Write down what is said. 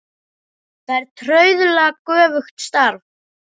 Það er trauðla göfugt starf.